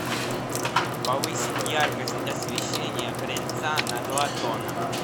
повысить яркость освещения крыльца на два тона